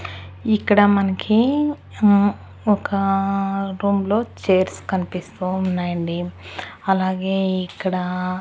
ఇక్కడ మనకి మ్మ్ ఒక రూమ్ లో చైర్స్ కనిపిస్తూ ఉన్నాయండి అలాగే ఇక్కడా--